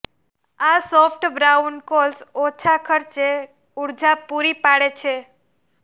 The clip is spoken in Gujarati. આ સોફ્ટ બ્રાઉન કોલ્સ ઓછા ખર્ચે ઊર્જા પૂરી પાડે છે